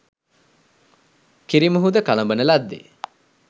කිරි මුහුද කළඹන ලද්දේ